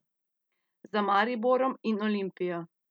Za Mariborom in Olimpijo!